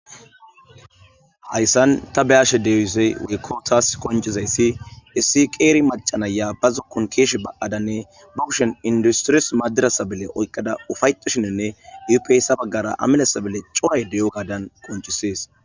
hayssan ta beyashe deewisey weykko taas qoncizayssi issi qeeri macanaya ba zukkun keeshe baadanne ba kushon industiris madirasabele oyqqada ufayetoshininne upyssa baggara amilesabele coay deyo gadan qoncisees.